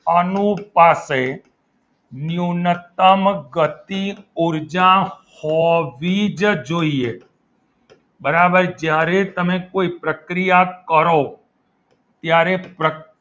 અનૂર પાસે ન્યૂનતમ ગતિ ઉર્જા હોવી જ જોઈએ બરાબર જ્યારે તમે કોઈ પ્રક્રિયા કરો ત્યારે